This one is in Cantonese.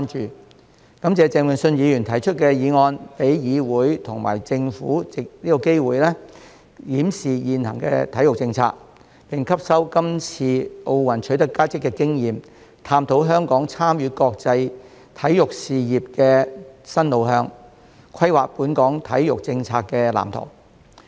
我感謝鄭泳舜議員提出議案，讓議會和政府藉此機會檢視現行體育政策，並吸收這次奧運取得佳績的經驗，探討香港參與國際體育事業的新路向，規劃本港體育政策的藍圖。